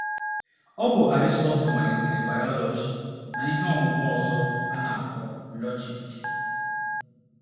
Ọ bụ Aristotle malitere bayọlọji na ihe ọmụmụ ọzọ a na - akpọ lọjik.